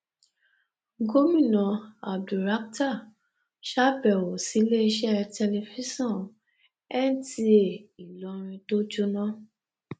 gomina abdulrakhtar sábẹwò síléeṣẹ tẹlifíṣàn nta ìlọrin tó jóná